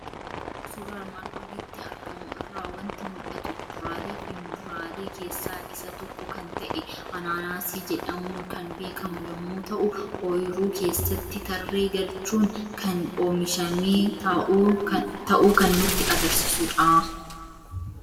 Suuraa armaan olitti argamu irraa waanti mul'atu; kuduraaleefi muduraalee keessaa isa tokko kan ta'e Anaanaasii jedhamuun kan beekamu yommuu ta'u oyiruu keessatti tarree galchuun kn oomishame ta'uu kan nutti agarsiisudha.